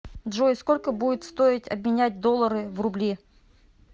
джой сколько будет стоить обменять доллары в рубли